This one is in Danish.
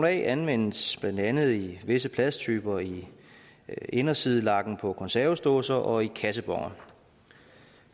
a anvendes blandt andet i visse plasttyper i indersidelakken på konservesdåser og i kasseboner